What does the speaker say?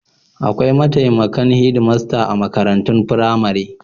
Akwai mataimakan hedmasta a makarantun firamare.